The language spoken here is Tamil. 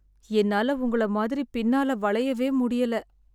என்னால உங்கள மாதிரி பின்னால வளையவே முடியல.